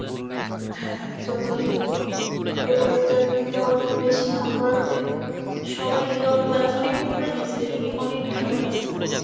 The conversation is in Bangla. হ্যাঁ হ্যাঁ চঞ্চল চৌধুরীর এবং এটা এটা অনেক বেশী নাম করাতে সবাই এটা অতনা অনেক popular হয়েসে rating এ অনেক ভালো আসে